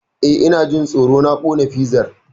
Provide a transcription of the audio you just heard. Eh, Ina jin tsoro na kona fizar.